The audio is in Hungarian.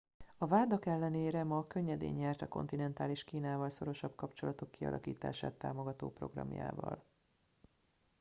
a vádak ellenére ma könnyedén nyert a kontinentális kínával szorosabb kapcsolatok kialakítását támogató programjával